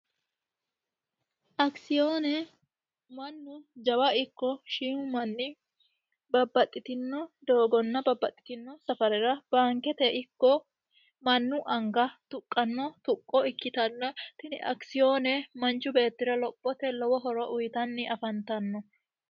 akisiyoone mannu jawa ikko shiimu manni babbaxxitino doogonna babbaxxitino safarira baankete ikko mannu anga tuqqanno tuqqo ikkitanna tini akisiyoone manchu beettira lophote lowo horo uyitanni afantanno